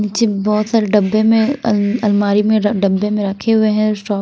नीचे बहुत सारे डब्बे में अल अलमारी में डब्बे में रखे हुए हैं।